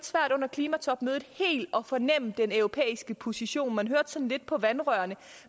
klimatopmødet helt at fornemme den europæiske position man hørte sådan lidt på vandrørene